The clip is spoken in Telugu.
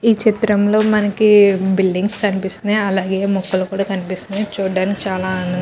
ఈ చిత్రం లో మనకి బిల్డింగ్స్ కనిపిస్తున్నాయి. అలాగే మొక్కలు కూడా కనిపిస్తున్నాయి. చూడ్డానికి చాలా ఆనందంగా--